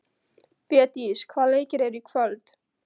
Védís, hvaða leikir eru í kvöld?